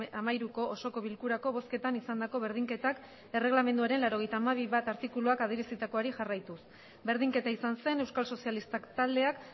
hamairuko osoko bilkurako bozketan izandako berdinketak erregelamenduaren laurogeita hamabi puntu bat artikuluak adierazitakoari jarraituz berdinketa izan zen euskal sozialistak taldeak